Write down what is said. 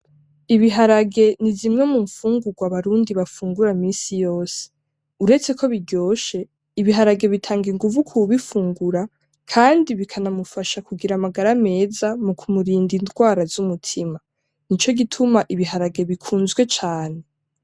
Ibiharage ni zimwe mu mfungugwa abarundi bafungura misi yose. Uretse ko biryoshe, ibiharage bitanga inguvu k’uwubifungura Kandi bikanamufasha kugira amagara meza mu kurinda indwara z’umutima, nico gituma ibiharage bikunzwe cane.